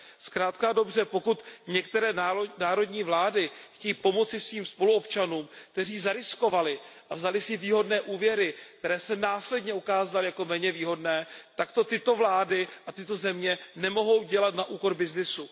Zkrátka a dobře, pokud některé národní vlády chtějí pomoci svým spoluobčanům, kteří zariskovali a vzali si výhodné úvěry, které se následně ukázaly jako méně výhodné, tak to tyto vlády a tyto země nemohou dělat na úkor byznysu.